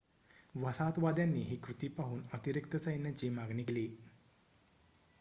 वसाहतवाद्यांनी ही कृती पाहून अतिरिक्त सैन्याची मागणी केली